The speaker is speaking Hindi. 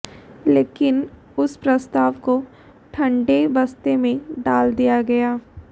लेकिन उस प्रस्ताव को ठंडे बस्ते में डाल दिया गया